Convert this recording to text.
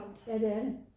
Ja det er det